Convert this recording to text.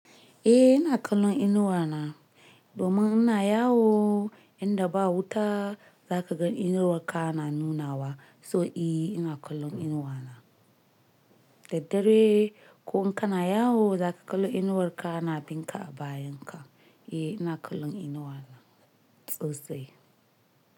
Eh ina kallon inuwa na, domin ina yawo inda ba wuta zaka ga inuwarka na nunawa. So eh ina kallon inuwa na. Dad dare ko in kana yawo zaka kalli inuwar ka na binka a bayan ka. Eh ina kallon inuwa na. Sosai.